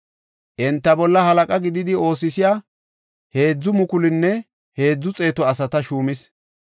Enta bolla halaqa gididi oosisiya 3,300 asata shuumis.